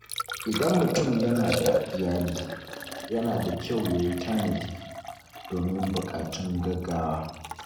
Idan mutum yana da iyali, yana da kyau ya yi tanadi domin buƙatun gaugawa.